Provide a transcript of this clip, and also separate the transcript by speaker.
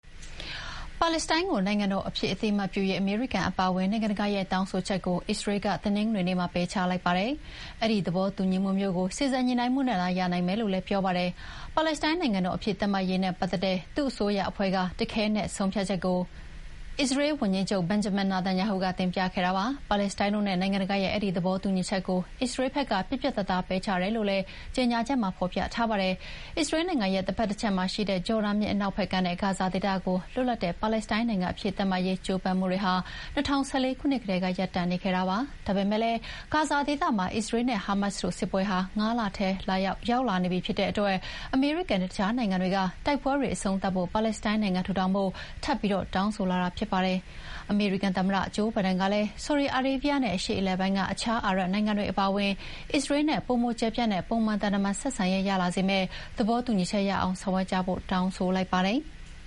Speaker 1: ပါလက်စတိုင်းကို နိုင်ငံတော်အဖြစ်အသိအမှတ်ပြုရေး အမေရိကန်အပါအဝင် နိုင်ငံတကာရဲ့တောင်းဆိုချက်ကို အစ္စရေးလ်က တနင်္ဂနွေနေ့မှာ ပယ်ချလိုက်ပါတယ်။ အဲဒီသဘောတူညီမှုမျိုးကို စေ့စပ်ညှိနှိုင်းမှုနဲ့သာ ရနိုင်မယ်လို့လည်း ပြောပါတယ်။ ပါလက်စတိုင်းနိုင်ငံတော်အဖြစ် သတ်မှတ်ရေးနဲ့ပတ်သက်တဲ့ သူ့အစိုးရအဖွဲ့က တခဲနက်ဆုံးဖြတ်ချက်ကို အစ္စရေးဝန်ကြီးချုပ် Benjamin Netanyahu က တင်ပြခဲ့တာပါ။ ပါလက်စတိုင်းတို့နဲ့ နိုင်ငံတကာရဲ့အဲဒီသဘောတူညီချက်ကို အစ္စရေးလ်ဘက်က ပြတ်ပြတ်သားသား ပယ်ချတယ်လို့လည်း ကြေညာချက်မှာ ဖော်ပြထားပါတယ်။ အစ္စရေးလ်နိုင်ငံရဲ့ တဘက်တချက်မှာရှိတဲ့ ဂျော်ဒန်မြစ် အနောက်ဘက်ကမ်းနဲ့ ဂါဇာဒေသကို လွတ်လပ်တဲ့ ပါလက်စတိုင်းနိုင်ငံအဖြစ်သတ်မှတ်ရေး ကြိုးပမ်းမှုတွေဟာ ၂၀၁၄ ခုနှစ်ကတည်းက ရပ်တန့်နေခဲ့တာပါ။ ဒါပေမယ့်လည်း ဂါဇာဒေသမှာ အစ္စရေးလ်နဲ့ ဟာမတ်စ်တို့စစ်ပွဲဟာ ၅ လထဲ ရောက်လာနေပြီဖြစ်တဲ့အတွက် အမေရိကန်နဲ့ အခြားနိုင်ငံတွေက တိုက်ပွဲတွေအဆုံးသတ်ဖို့ ပါလက်စတိုင်းနိုင်ငံ ထူထောင်ဖို့ ထပ်ပြီးတောင်းဆိုလာကြတာဖြစ်ပါတယ်။ အမေရိကန်သမ္မတ ဂျိုးဘိုင်ဒန်ကလည်း ဆော်ဒီအာရေးဗီးယားနဲ့ အရှေ့အလယ်ပိုင်းက တခြားအာရပ်နိုင်ငံတွေအပါအဝင် အစ္စရေးလ်နဲ့ပိုကျယ်ပြန့်တဲ့ ပုံမှန်သံတမန်ဆက်ဆံရေးရလာစေမယ့် သဘောတူညီချက်တရပ်ရအောင် ဆောင်ရွက်ကြဖို့ တောင်းဆိုလိုက်ပါတယ်။